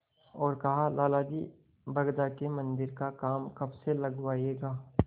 और कहालाला जी बरगदा के मन्दिर का काम कब से लगवाइएगा